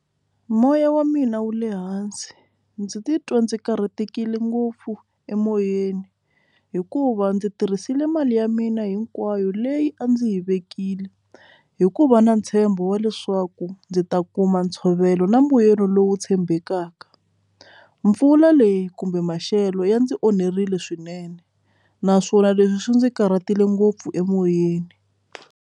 Moya wa mina wu le hansi ndzi titwa ndzi karhatekile ngopfu emoyeni hikuva ndzi tirhisile mali ya mina hinkwayo leyi a ndzi yi vekile hikuva na ntshembo wa leswaku ndzi ta kuma ntshovelo na mbuyelo lowu tshembekaka mpfula leyi kumbe maxelo ya ndzi onherile swinene naswona leswi swi ndzi karhatile ngopfu emoyeni.